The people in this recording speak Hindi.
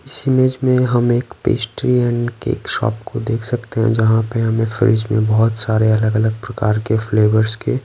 इस इमेज में हम एक पेस्ट्री एंड केक शॉप को देख सकते हैं जहाँ पे हमें फ्रिज में बहुत सारे अलग-अलग प्रकार के फ्लेवर्स के--